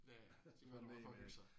Ja ja de var kommet for at hygge sig